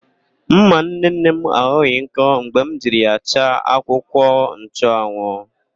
Ḿmà nnenne m aghọghị nkọ mgbe m jiri ya chaa akwụkwọnchụanwụ.